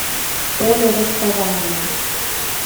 поле расставания